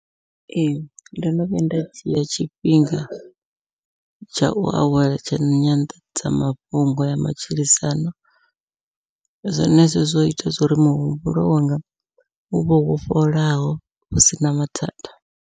Ee ndo no vhuya nda dzhia tshifhinga tshau awela tsha nyanḓadzamafhungo ya matshilisano, zwenezwo zwo ita zwo ri muhumbulo wanga uvhe wo fholaho hu sina mathada.